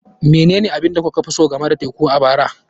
Menene abin da kuka fi so game da teku a bara?